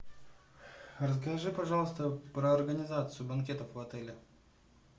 расскажи пожалуйста про организацию банкетов в отеле